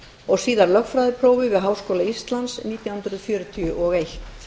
og síðar lögfræðiprófi við háskóla íslands nítján hundruð fjörutíu og eitt